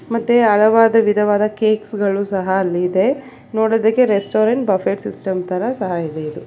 ಮತ್ತೆ ಹಳವಾದ ವಿಧವಾದ ಕೇಕ್ಸ್ ಗಳು ಸಹ ಅಲ್ಲಿದೆ ನೋಡೋದಕ್ಕೆ ರೆಸ್ಟೋರೆಂಟ್ ಬಫೆಟ್ ಸಿಸ್ಟಮ್ ತರ ಸಹ ಇದೆ.